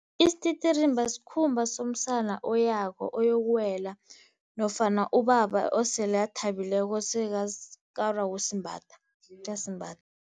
Isititirimba sikhumba somsana oyako, oyokuwela nofana ubaba osele athabileko sekakarwa kusimbatha uyasimbatha.